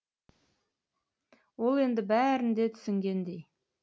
ол енді бәрін де түсінгендей